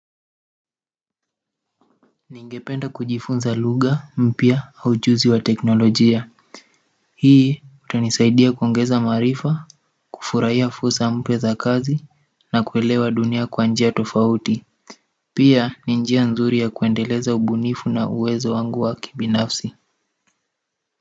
Ningependa kujifunza lugha, mpya au ujuzi wa teknolojia hii utanisaidia kuongeza maarifa, kufurahia fursa mpya za kazi na kuelewa dunia kwa njia tofauti pia ni njia nzuri ya kuendeleza ubunifu na uwezo wangu wa kibinafsi.